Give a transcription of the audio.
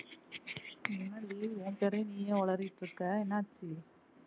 என்ன டி உன் பேர நீயே உளறிட்டு இருக்க என்னாச்சு